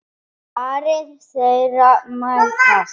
Varir þeirra mætast.